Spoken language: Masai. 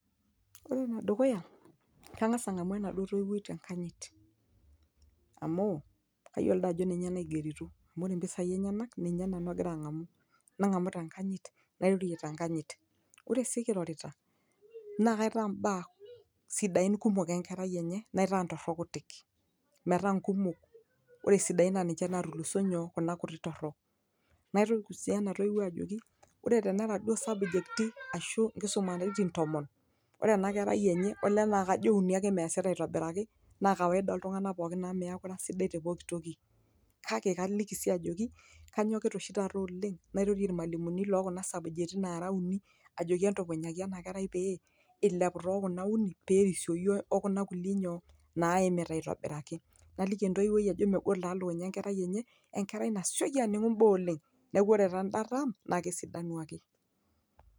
ore enedukuya kang'as ang'amu enaduo toiwuoi tenkanyit amu kayiolo dii ajo ninye naigerito ore impisai enyenak ninye nanu agira ang'amu nang'amu tenkanyit nairorie tenkanyit ore sii kirorita naa kaitaa imbaa sidain kumok enkerai enye naitaa ntorok kutik metaa nkumok ore isidain naa ninche natuluso nyoo kuna kuti torok naitukuj sii ena toiwuoi ajoki ore tenera duo isabjekti ashu inkisumaritin tomon ore ena kerai enye olee naa kajo uni ake meesita aitobiraki naa kawaida oltung'anak pokin amu miaku ira sidai te pokitoki kake kaliki sii ajoki kanyokita oshi taata oleng nairorie irmalimuni lokuna sabujeti nara uni ajoki entupunyaki ena kerai pee ilepu tokuna uni perisioyu okuna kulie nyoo naimita aitobiraki naliki entoiwuoi ajo megol taa lukunya enkerai enye enkerai nasioki aning'u imbaa oleng neeku re tanda tam naa kesidanu ake.